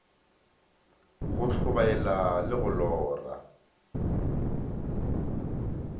go tlhobaela le go lora